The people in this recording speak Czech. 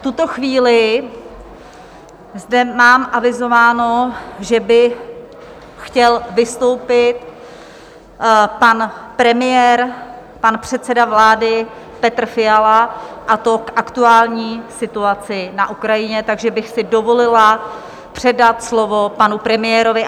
V tuto chvíli zde mám avizováno, že by chtěl vystoupit pan premiér, pan předseda vlády Petr Fiala, a to k aktuální situaci na Ukrajině, takže bych si dovolila předat slovo panu premiérovi.